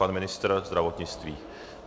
Pan ministr zdravotnictví.